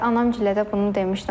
Anamgilə də bunu demişdim.